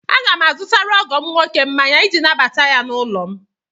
Aga m azụtara ọgọ m nwoke mmanya iji nabata ya n'ụlọ m.